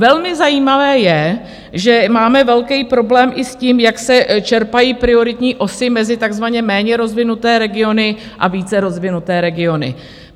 Velmi zajímavé je, že máme velký problém i s tím, jak se čerpají prioritní osy mezi takzvaně méně rozvinuté regiony a více rozvinuté regiony.